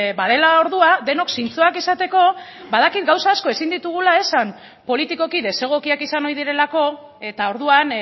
badela ordua denok zintzoak izateko badakit gauza asko ezin ditugula esan politikoki desegokiak izan ohi direlako eta orduan